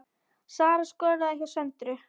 Sara skoraði hjá Söndru